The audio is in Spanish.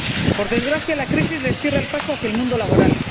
Por desgracia, la crisis les cierra el paso hacia el mundo laboral.